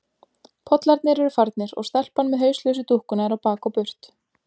Pollarnir eru farnir og stelpan með hauslausu dúkkuna er á bak og burt.